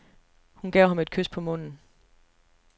Hun gav ham et kys på munden.